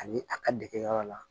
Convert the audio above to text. Ani a ka dege yɔrɔ la